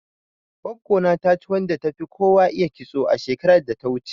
Goggo na ta ci wadda tafi kowa iya kitso, shekarar da ta wuce.